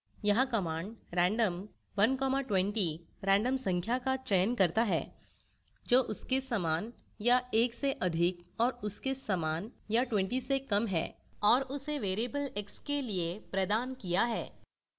यहाँ command random 120 random संख्या का चयन करता है जो उसके समान या 1 से अधिक और उसके समान या 20 से कम है और उसे variable x के लिए प्रदान किया है